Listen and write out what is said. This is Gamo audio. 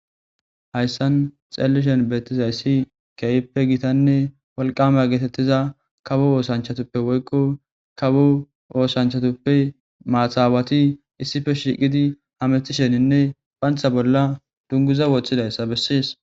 Hayssan xeellishen beettizayssi keeyppe gitanne walqame geetettiza kawo oosanchatuppe woykqo kawo oosanchatuppe maahawati issife shiqidi hamethisheninne phantha bolla dunguza woththidayssa bessiis.